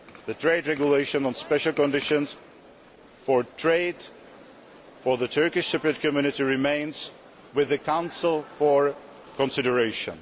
The Trade Regulation, on special conditions for trade for the Turkish Cypriot community, remains with the Council for consideration.